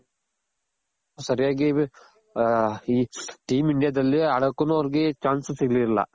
ಸರ್ಯಾಗಿ ಈ team India ದಲ್ಲಿ ಆಡೋಕುನು ಅವರ್ಗೆ chance ಸಿಗ್ಲಿಲ್ಲ